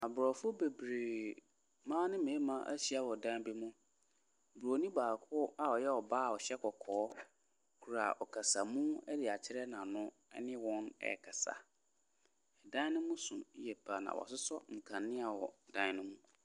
Aborɔfo bebree, mmaa ne mmarima ahyia wɔ dan bi mu, bronin baako a ɔyɛ ɔbaa a ɔhyɛ kɔkɔɔ kura ɔkasamu de akyerɛ n’ano ne wɔn ɛrekasa. Dan ne mu so yie pa ara na wɔasosɔ nkanea wɔ dan ne mu.